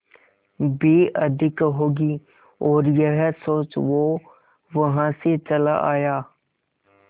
भी अधिक होगी और यह सोच वो वहां से चला आया